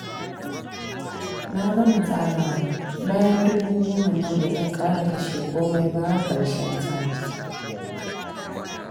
Na gama tsarawa, bayan dubu goman nan ba zan ƙara kashe komai ba har ƙarshen sati